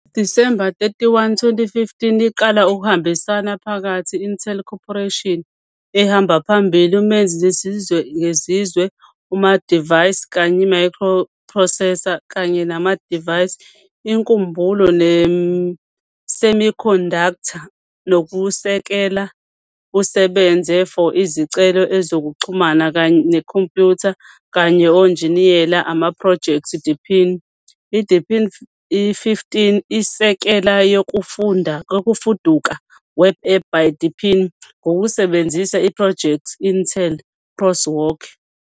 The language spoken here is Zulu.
The December 31, 2015 iqala ukubambisana phakathi Intel Corporation, a ehamba phambili umenzi sezizwe ngezizwe Amadivayisi kanye microprocessors kanye namadivayisi inkumbulo semiconductor, nokusekela busebenze for izicelo ezokuxhumana kanye computer, kanye Onjiniyela amaphrojekthi Deepin. deepin 15 isekela yokufuduka Web App by deepin ngokusebenzisa iphrojekthi Intel, Crosswalk.